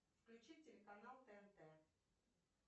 включи телеканал тнт